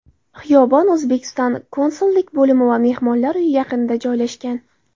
Xiyobon O‘zbekiston konsullik bo‘limi va mehmonlar uyi yaqinida joylashgan.